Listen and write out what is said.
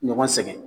Ɲɔgɔn sɛgɛn